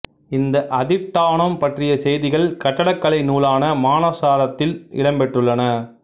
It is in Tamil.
இந்த அதிட்டானம் பற்றிய செய்திகள் கட்டடக்கலை நூலான மானசாரத்தில் இடம் பெற்றுள்ளன